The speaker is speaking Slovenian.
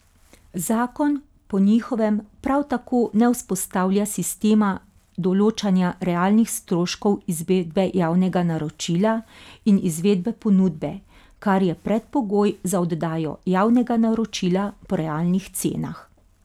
Zakon po njihovem prav tako ne vzpostavlja sistema določanja realnih stroškov izvedbe javnega naročila in izvedbe ponudbe, kar je predpogoj za oddajo javnega naročila po realnih cenah.